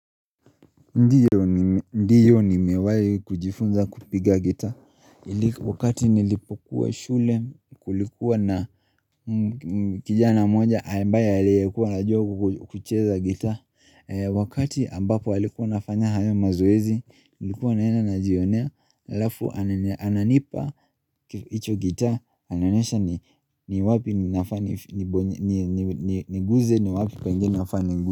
Ndiyo nimewai kujifunza kupiga guitar Wakati nilipokuwa shule kulikuwa na kijana mmoja ambaye aliyekuwa anajua kucheza guitar Wakati ambapo alikuwa anafanya hayo mazoezi Nilikuwa naenda najionea alafu ananipa icho guitar Ananionyesha ni wapi ninafaa niguze ni wapi penye nafaa niguze.